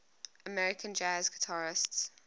american jazz guitarists